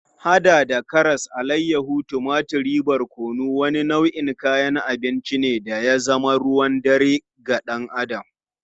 Kayan lambu wanda ya hada da karas, alayyahu, tumatur da barkono, wani nau'in kayan abinci ne da ya zama ruwan dare ga dan Adam.